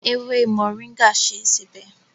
Ewé Moringa ṣe é sebẹ̀.